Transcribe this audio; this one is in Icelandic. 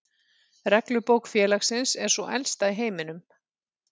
Reglubók félagsins er sú elsta í heiminum.